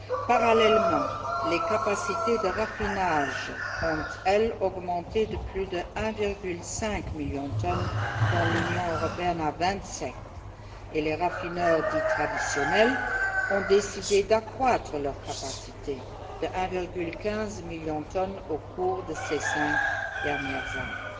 Parallèlement, les capacités de raffinage ont, elles, augmenté de plus de 1,5 million de tonnes dans l'Union européenne à vingt sept et les raffineurs dits traditionnels ont décidé d'accroître leurs capacités de 1,15 million de tonnes au cours de ces cinq dernières années.